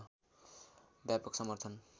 व्यापक समर्थन